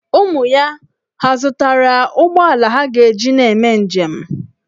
Ụmụ ya hà zụtara ụgbọala ha ga-eji na-eme njem?